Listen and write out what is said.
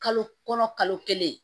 Kalo kɔnɔ kalo kelen